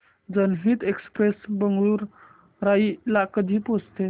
जनहित एक्सप्रेस बेगूसराई ला कधी पोहचते